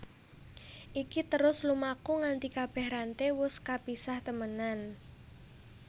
Iki terus lumaku nganti kabèh ranté wus kapisah temenan